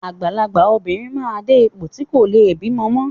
Àgbàlagbà obìnrin máa ń dé ipò tí wọn kò leè bímọ mọ́.